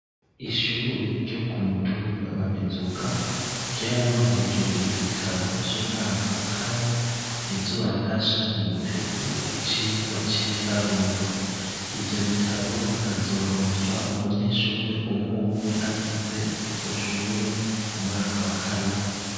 Ishure ryo ku mutumba wa mizuga ryaronkejwe ibitabo vy'umwaka wa kane bizobafasha mu gutegura icigwa c'ibiharuro, ivyo bitabo bikazoronswa umunyeshure umwumwe agize iryo shure umwaka wa kane.